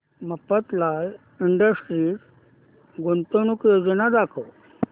Mafatlal industries गुंतवणूक योजना दाखव